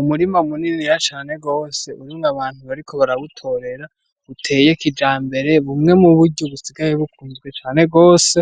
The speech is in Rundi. Umurima munini cane gose urimwo abantu bariko barawutorera uteye kijambere bumwe muburyo busigaye bukunzwe cane gose